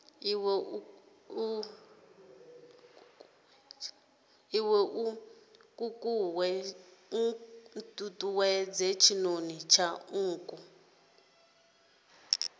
iwe nkukuwe tshinoni tsha nkuku